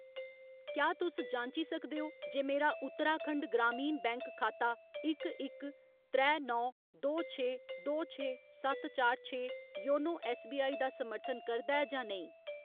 क्या तुस जांची सकदे ओ जे मेरा उत्तराखंड ग्रामीण बैंक खाता इक इक त्रै नौ दो छे दो छे सत्त चार छे योनो ऐस्सबीआई दा समर्थन करदा ऐ जां नेईं ?